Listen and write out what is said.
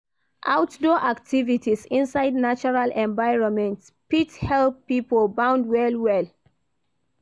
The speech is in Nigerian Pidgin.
Ourdoor activities inside natural environment fit help pipo bond well well